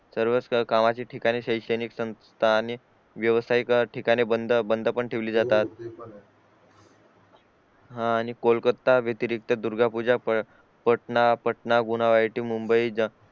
सर्व कामाचे ठिकाणी शैक्षणिक संस्था आणि व्यावसायिक ठिकाणी बंद बंद पण ठेवली जातात हा आणि कोलकाता व्यतिरिक्त दुर्गा पूजा पटना गुना येथे मुंबई